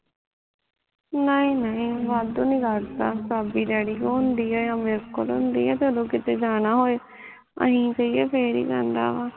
ਨਹੀਂ ਨਹੀਂ ਵਾਧੂ ਨੀ ਕਰਦਾ ਸਬਜ਼ੀ ਡੈਡੀ ਕੋਲ ਹੁੰਦੀ ਐ ਯਾ ਮੇਰੇ ਕੋਲ ਹੁੰਦੀ ਐ ਜਦੋਂ ਕਿਤੇ ਜਾਨਾ ਹੋਏ ਅਸੀਂ ਕਹੀਏ ਫੇਰ ਹੀਂ ਕਰਦਾ ਵਾ